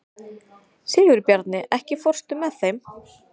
Sigurbjarni, ekki fórstu með þeim?